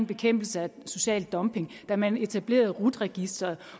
bekæmpelse af social dumping da man etablerede rut registeret